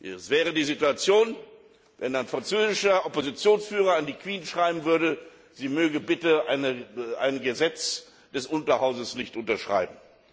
Es wäre so, als ob ein französischer Oppositionsführer an die Queen schreiben würde, sie möge bitte ein Gesetz des Unterhauses nicht unterschreiben.